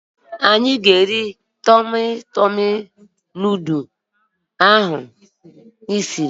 Anyị ga-eri Tọmị Tọmị nudụ ahụ ị siri